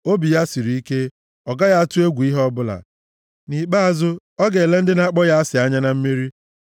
Obi ya siri ike, ọ gaghị atụ egwu ihe ọbụla; nʼikpeazụ, ọ ga-ele ndị na-akpọ ya asị anya na mmeri.